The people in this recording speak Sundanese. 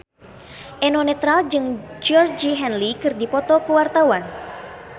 Eno Netral jeung Georgie Henley keur dipoto ku wartawan